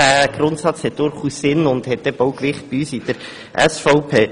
Dieser Grundsatz hat durchaus Gewicht in der SVP.